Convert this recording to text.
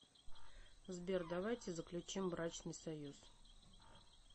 сбер давайте заключим брачный союз